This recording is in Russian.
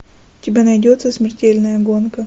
у тебя найдется смертельная гонка